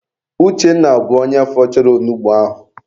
Uchenna bụ onye fọchara onugbu ahụ.